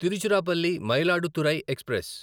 Tiruchirappalli Mayiladuthurai express